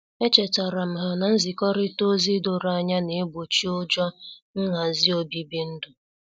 Echetaram ha na-nzikorita ozi doro anya na-egbochi ụjọ nhazi obibi ndu.